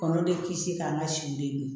Kɔnɔ de kisi k'an ka si den